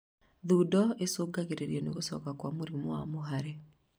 Thundo icũngagĩrĩrio nĩ gũcoka gwa mũrimũ wa mũhare